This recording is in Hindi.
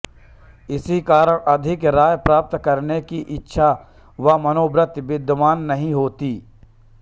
इसी कारण अधिक आय प्राप्त करने की इच्छा व मनोवृत्ति विद्यमान नहीं होती